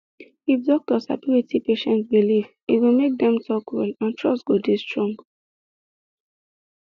if doctor sabi wetin patient believe e go make dem talk well and trust go dey strong